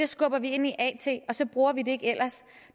skubber vi ind i at og så bruger vi det ikke ellers